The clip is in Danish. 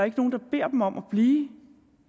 ikke nogen der beder dem om at blive